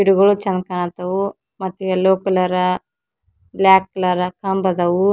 ಗಿಡಗಳು ಚಂದ್ ಕಾಣತ್ತವ್ ಮತ್ತ್ ಯೆಲ್ಲೊ ಕಲರ ಬ್ಲ್ಯಾಕ್ ಕಲರ ಕಂಬದವು.